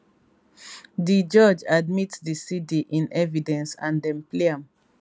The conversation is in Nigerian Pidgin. di judge admit di cd in evidence and dem play am